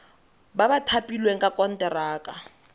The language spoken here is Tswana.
ba ba thapilweng ka konteraka